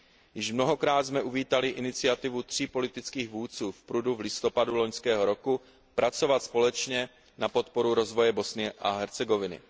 Již mnohokrát jsme uvítali iniciativu tří politických vůdců v Prudu v listopadu loňského roku pracovat společně na podporu rozvoje Bosny a Hercegoviny.